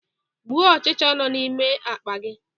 Gbuo ọchịcha nọ n'ime akpa gi!